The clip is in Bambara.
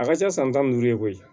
A ka ca san tan ni duuru ye koyi